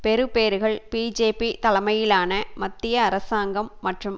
பெறுபேறுகள் BJP தலைமையிலான மத்திய அரசாங்கம் மற்றும்